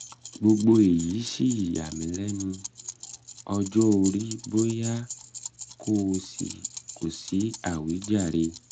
gbogbo èyí sì yà mí lẹ́nu? um ọjọ́ orí bóyá? kò um sí um àwíjàre